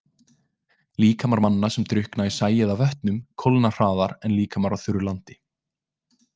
Líkamar manna, sem drukkna í sæ eða vötnum kólna hraðar en líkamar á þurru landi.